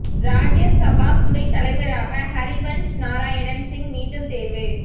ராஜ்யசபா துணை தலைவராக ஹரிவன்ஷ் நாராயண் சிங் மீண்டும் தேர்வு